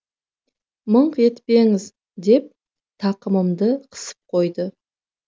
мыңқ етпеңіз деп тақымымды қысып қойды